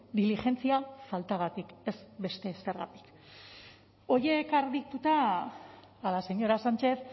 diligentzia faltagatik ez beste ezergatik horiek argituta a la señora sánchez